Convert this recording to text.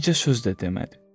Bircə söz də demədi.